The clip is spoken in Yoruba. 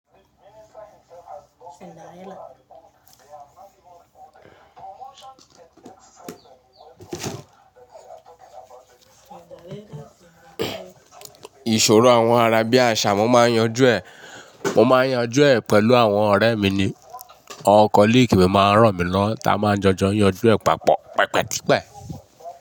Ìṣòro àwọn àràbíàṣá mo máa ń yanjú ẹ̀. Mo máa ń yanjú ẹ̀ pẹ̀lú àwọn ọ̀rẹ́ mi ni awon colleague mi máa ń ránmilọwo tá a máa ń jọjọ yanjú ẹ̀ papọ̀ pẹpẹtipẹ́